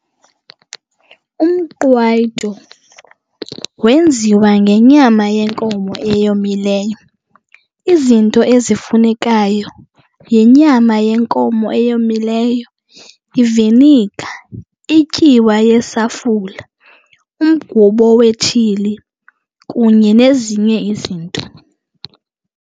Umqwayito wenziwa ngenyama yenkomo eyomileyo. Izinto ezifunekayo yinyama yenkomo eyomileyo, iviniga, ityiwa yesafula, umgubo wetshili kunye nezinye izinto.